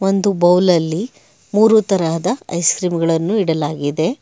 ಒಂದು ಬೌಲ್ ಅಲ್ಲಿ ಮೂರು ತರಹದ ಐಸ್ ಕ್ರೀಮ್ ಗಳನ್ನು ಇಡಲಾಗಿದೆ.